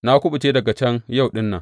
Na kuɓuce daga can yau ɗin nan.